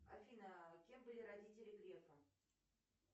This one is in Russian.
афина кем были родители грефа